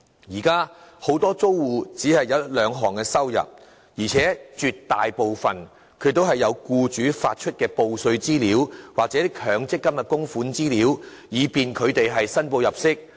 現時很多租戶只有一兩項收入，而且絕大部分也有僱主發出的報稅資料，又或強積金的供款資料可供他們申報入息之用。